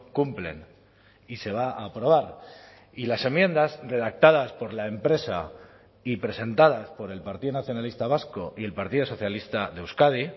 cumplen y se va a aprobar y las enmiendas redactadas por la empresa y presentadas por el partido nacionalista vasco y el partido socialista de euskadi